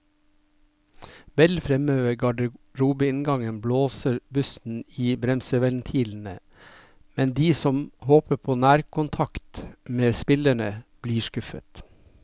Vel fremme ved garderobeinngangen blåser bussen i bremseventilene, men de som håper på nærkontakt med spillerne, blir skuffet.